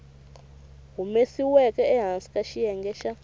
humesiweke ehansi ka xiyenge xa